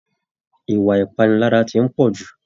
Ìwà ipanilara tí n pọ jù.